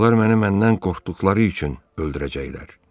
Onlar məni məndən qorxduqları üçün öldürəcəklər.